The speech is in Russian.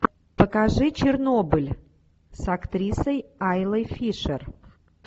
покажи чернобыль с актрисой айлой фишер